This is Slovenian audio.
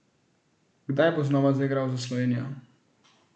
Kdaj bo znova zaigral za Slovenijo?